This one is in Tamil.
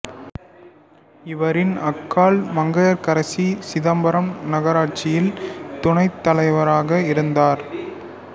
இவரின் அக்காள் மங்கையர்க்கரசி சிதம்பரம் நகராட்சியில் துணைத் தலைவராக இருந்தார்